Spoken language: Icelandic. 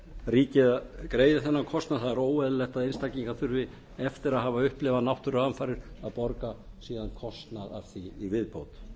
ríkið greiði þennan kostnað það er óeðlilegt að einstaklingar þurfi eftir að hafa upplifað náttúruhamfarir að borga síðan kostnað af því í viðbót